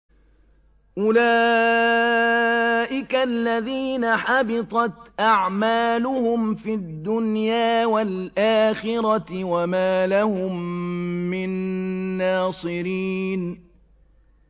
أُولَٰئِكَ الَّذِينَ حَبِطَتْ أَعْمَالُهُمْ فِي الدُّنْيَا وَالْآخِرَةِ وَمَا لَهُم مِّن نَّاصِرِينَ